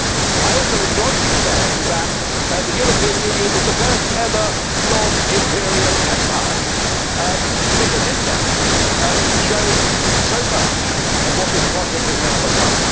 I also enjoyed you saying that the European Union was the first ever non imperial empire, because in that you showed so much of what this project has now become.